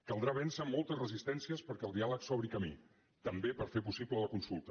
caldrà vèncer moltes resistències perquè el diàleg s’obri camí també per fer possible la consulta